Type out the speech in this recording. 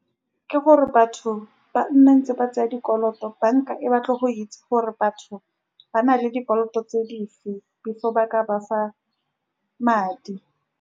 Ke gore batho ba nne ntse ba tsaya dikoloto. Banka e batla go itse gore batho ba na le dikoloto tse dife, before ba ka ba fa madi.